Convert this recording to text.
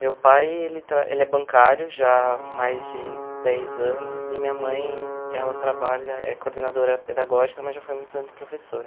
Meu pai, ele tra ele é bancário já mais de dez anos e minha mãe, ela trabalha, é coordenadora pedagógica, mas já foi muitos anos professora.